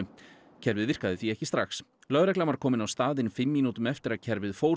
kerfið virkaði því ekki strax lögreglan var komin á staðinn fimm mínútum eftir að kerfið fór